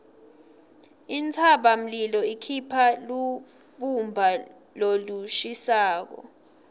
intsabamlilo ikhipha lubumba lolushisako